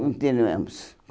Continuamos.